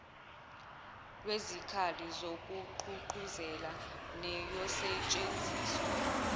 lwezikhali zokugqugquzela neyosetshenziswa